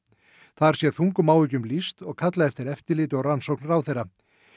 þar sé þungum áhyggjum lýst og kallað eftir eftirliti og rannsókn ráðherra